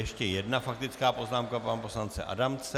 Ještě jedna faktická poznámka pana poslance Adamce.